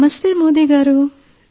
నమస్తే మోదీ గారూ